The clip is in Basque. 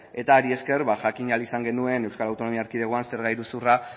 eta horri esker jakin ahal izan genuen euskal autonomia erkidegoan zer da iruzurra